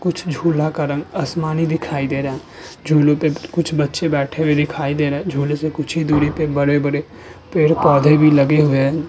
कुछ झूला का रंग आसमानी दिखाई दे रहा है। झूले पर कुछ बच्चे बैठे हुए दिखाई दे रहे। झूले से कुछ ही दूरी पर बड़े-बड़े पेड़-पौधे भी लगे हुए हैं।